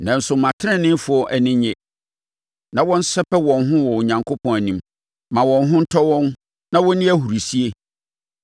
Nanso, ma ateneneefoɔ ani nnye na wɔnsɛpɛ wɔn ho wɔ Onyankopɔn anim; ma wɔn ho ntɔ wɔn na wɔnni ahurisie.